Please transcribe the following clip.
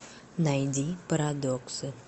найди парадоксы